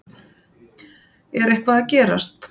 Þorbjörn: Er eitthvað að gerast?